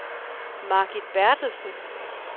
Margit Berthelsen